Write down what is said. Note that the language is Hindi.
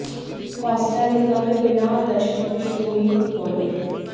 कोस्टा रिका में बिना दर्शकों के शुरू हुई फुटबॉल लीग